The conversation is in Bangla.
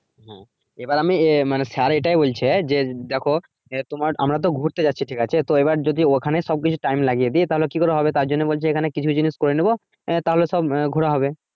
এবার আমি আহ মানে স্যার এটাই বলছে যে দেখো আহ তোমার আমরা তো ঘুরতে যাচ্ছি ঠিক আছে তো এবার যদি ওখানে সবকিছু time লাগিয়ে দেই তাহলে কি করে হবে তার জন্য বলছে এখানে কিছু কিছু জিনিস করে নিবো আহ তাহলে সব আহ ঘুরা হবে